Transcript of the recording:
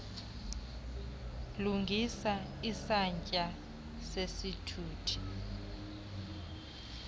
lungisa isantya sesithuthi